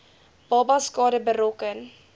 babas skade berokken